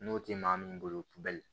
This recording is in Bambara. N'o tɛ maa min bolo kubɛli